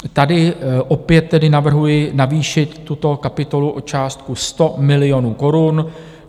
Tady opět tedy navrhuji navýšit tuto kapitolu o částku 100 milionů korun.